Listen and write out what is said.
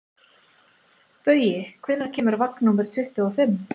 Baui, hvenær kemur vagn númer tuttugu og fimm?